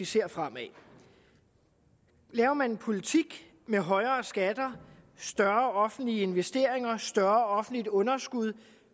ser fremad laver man en politik med højere skatter større offentlige investeringer og større offentligt underskud